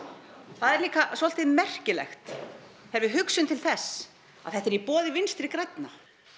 það er líka svolítið merkilegt þegar við hugsum til þess að þetta er í boði vinstri grænna